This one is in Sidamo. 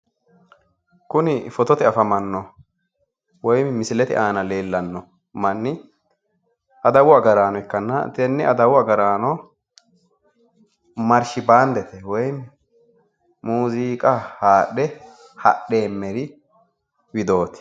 kuni fotote woyi misilete aana leellanno mannu adawu agaraano ikkanna tenne adawu agaraano woyi maarshi baandete muziiqa haadhe hadhanori widooti.